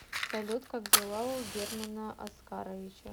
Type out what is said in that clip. салют как дела у германа оскаровича